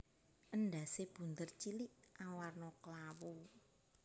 Endhasé bunder cilik awarna klawu